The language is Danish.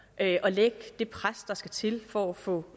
at lægge det pres der skal til for at få